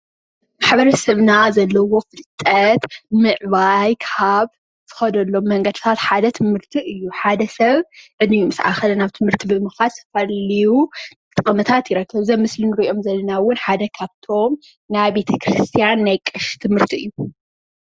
ማሕበረሰብና ዘለዎ ፍልጠት ምዕባይ ካብ ዝኸደሎም መንገድታት ሓደ ትምህርቲ እዩ። ሓደ ሰብ ዕድሚኡ ምስ አኸለ ናብ ትምህርቲ ብምኻድ ዝተፈላለዩ ጥቅምታት ይረክብ። እዞም አብ ምስሊ ንሪኦም ዘለና እውን ሓደ ካብቶም ናይ ቤተ ክርስቲያን ናይ ቀሺ ትምህርቲ እዩ።